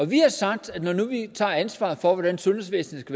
vi har sagt at når nu vi tager ansvaret for hvordan sundhedsvæsenet